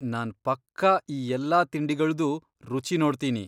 ನಾನ್ ಪಕ್ಕಾ ಈ ಎಲ್ಲಾ ತಿಂಡಿಗಳ್ದೂ ರುಚಿ ನೋಡ್ತೀನಿ.